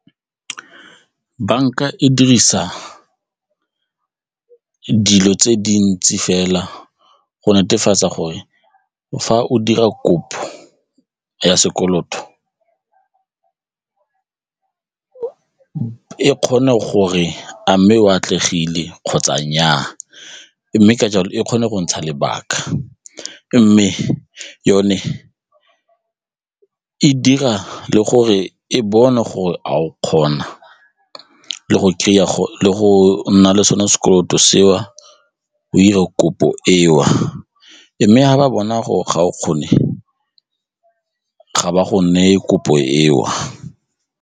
Banka e dirisa dilo tse dintsi fela go netefatsa gore fa o dira kopo ya sekoloto e kgone gore a mme o atlegile kgotsa nnyaa mme ka jalo e kgone go ntsha lebaka mme yone e dira le gore e bone gore a o kgona le go kry-a gore le go nna le sone sekoloto seo go ire kopo eo mme ga ba bona gore ga o kgone ga ba go neye kopo eo.